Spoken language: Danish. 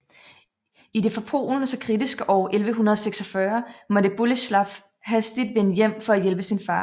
I det for Polen så kritiske år 1146 måtte Bolesław hastigt vende hjem for at hjælpe sin far